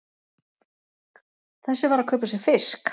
Þessi var að kaupa sér fisk!